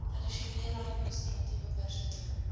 addisionele administratiewe personeel